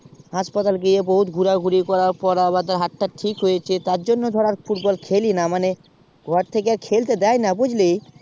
হাসপাতাল গিয়ে বহুত ঘুরে ঘুরির করার পর হাতটা আমার ঠিক হয়েছে তার জন্য ধর আর football খেলি না মানে ঘর থাকে আর খেলতে দেয় না বুঝেলি